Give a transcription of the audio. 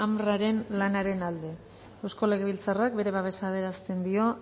unrwa lanaren alde eusko legebiltzarrak bere babesa adierazten dio